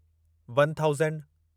one thousand